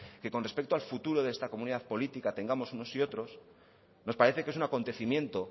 que con respecto al futuro de esta comunidad política tengamos unos y otros nos parece que es un acontecimiento